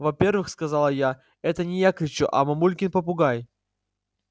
во-первых сказала я это не я кричу а мамулькин попугай